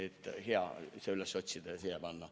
On hea see üles otsida ja siia panna.